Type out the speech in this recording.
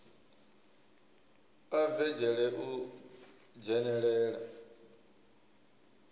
a bve dzhele u dzhenelela